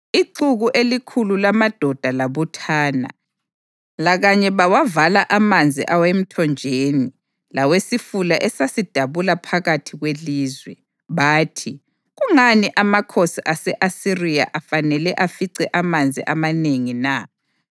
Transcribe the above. Ixuku elikhulu lamadoda labuthana, lakanye bawavala amanzi awemthonjeni lawesifula esasidabula phakathi kwelizwe. Bathi, “Kungani amakhosi ase-Asiriya afanele afice amanzi amanengi na?”